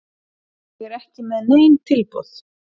Ég er ekki með nein tilboð.